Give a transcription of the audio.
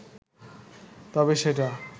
তবে সেটা